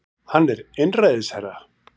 Hann er einræðisherra